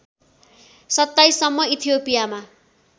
२७ सम्म इथियोपियामा